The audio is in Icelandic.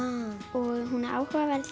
og hún er áhugaverð